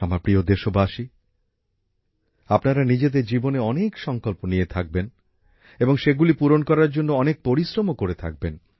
আমার প্রিয় দেশবাসী আপনারা নিজেদের জীবনে অনেক সংকল্প নিয়ে থাকবেন এবং সেগুলি পূরণ করার জন্য অনেক পরিশ্রমও করে থাকবেন